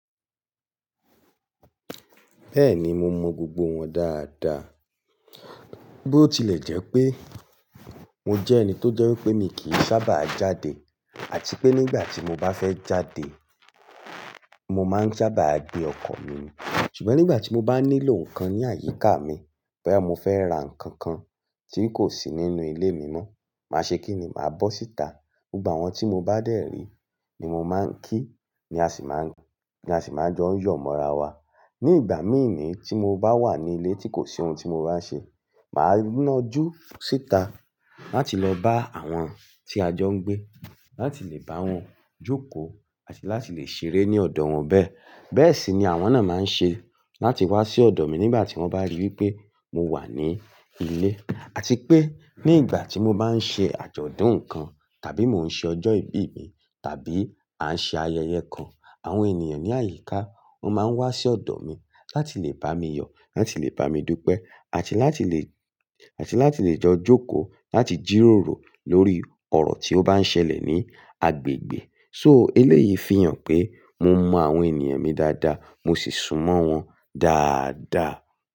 Bẹ́ẹ̀ni, mo mọ gbogbo wọn dáadáa. Bí ó tilẹ̀ jẹ́ pé mo jẹ́ ẹni tó jẹ́ wípé mi kì í sábà jáde àti pé nígbà tí mo bá fẹ́ jáde, mo máa ń sábà gbé ọkọ̀ mi. Ṣùgbọ́n nígbà tí mo bá nílò nǹkan ní àyíká mi, boya mó fẹ́ ra nǹkan kan tí ń kò sí nínú ilé mi ná, màá ṣe kí ni? Màá bọ́ síta. Ni ìgbà wọ́n tí mo bá dèrí ni mo máa ń kí, ni a sì máa ni a si maa ń jọ yọ̀ mọ́ra wa. Ní ìgbà mí ní tí mo bá wà ní ilé tí kò sí ohun tí mo bá ń ṣe, màá nájú síta láti lọ bá àwọn tí a jọ ń gbé láti lè bá wọn jókòó àti láti lè ṣeré ní ọ̀dọ̀ wọn bẹ́ẹ̀. Bẹ́ẹ̀ sì ni àwọn náà máa ń ṣe láti wá sí ọ̀dọ̀ mi nígbà tí wọ́n bá rí wípé mo wà ní ilé. Àti pé ní ìgbà tí mo bá ń ṣe àjọ̀dún nǹkan tàbí mo ń ṣe ọjọ́ ìbí mi tàbí a ń ṣe ayẹyẹ kan, àwọn ènìyàn ní àyíká, wọ́n máa ń wá sí ọ̀dọ̀ mi láti lè bá mi yọ̀, láti lè bá mi dúpẹ́ àti láti lè, àti láti lè jọ jókòó láti jíròrò lórí ọ̀rọ̀ tí ó bá ń ṣẹlẹ̀ ní agbègbè. So eléyìí fi hàn pé mo mọ àwọn ènìyàn mi dáadáa, mo sì sùnmọ́ wọn dáadáa.